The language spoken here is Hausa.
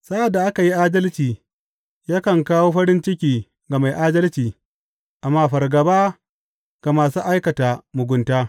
Sa’ad da aka yi adalci, yakan kawo farin ciki ga mai adalci amma fargaba ga masu aikata mugunta.